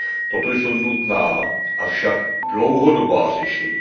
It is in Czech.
Toto jsou nutná, avšak dlouhodobá řešení.